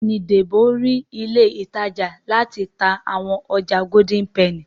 Béèni Debo rí ilé ìtajà láti tá àwọn ọjà Golden penny.